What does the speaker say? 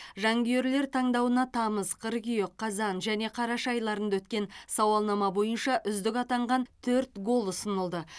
жанкүйерлер таңдауына тамыз қыркүйек қазан және қараша айларында өткен сауалнама бойынша үздік атанған төрт гол ұсынылды